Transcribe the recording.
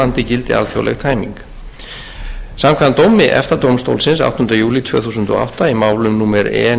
gildi alþjóðleg tæming samkvæmt dómi efta dómstólsins áttunda júlí tvö þúsund og átta í málum númer e